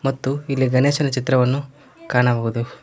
ಮತ್ತು ಇಲ್ಲಿ ಗಣೇಶನ ಚಿತ್ರವನ್ನು ಕಾಣಬಹುದು.